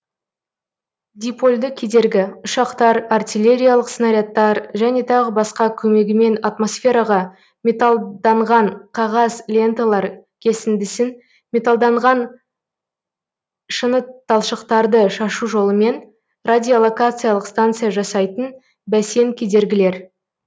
дипольды кедергі ұшақтар артиллериялық снарядтар және тағы басқа комегімен атмосферага металданған қағаз ленталар кесіндісін металданған шыныталшықтарды шашу жолымен радиолокациялық станция жасайтын бәсен кедергілер